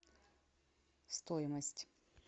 стоимость